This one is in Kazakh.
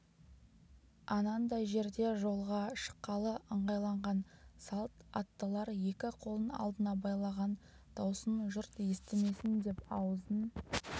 анандай жерде жолға шыққалы ыңғайланған салт аттылар екі қолын алдына байлаған даусын жұрт естімесін деп аузын